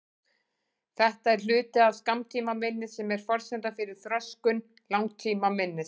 Þetta er hluti af skammtímaminni sem er forsenda fyrir þroskun langtímaminnis.